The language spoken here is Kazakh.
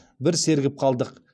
бір сергіп қалдық